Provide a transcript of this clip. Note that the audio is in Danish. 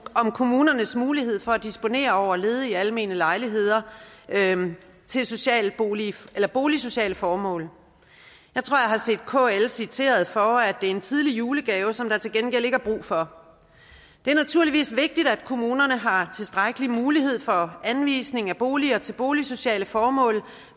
kommunernes mulighed for at disponere over ledige almene lejligheder til boligsociale formål jeg tror jeg har set kl citeret for at det er en tidlig julegave som der til gengæld ikke er brug for det er naturligvis vigtigt at kommunerne har tilstrækkelige muligheder for anvisning af boliger til boligsociale formål